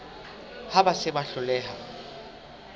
ha ba se ba hloleha